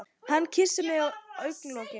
Hann kyssir mig á augnalokin.